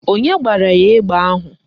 Onye gbara ya egbe ahụ?